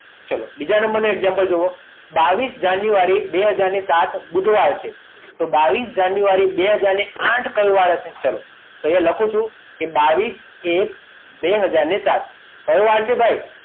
ચલો બીજા number નું example જુઓ બાવીસ જાન્યુઆરી બે હાજર ને સાત બુધવાર છે તો બાવીસ જાન્યુઆરી બે હાજર આઠ કયો વાર હશે અહીંયા લખું છું બાવીસ એક બે ઘજર ને સાત કયો વાર છે ભાઈ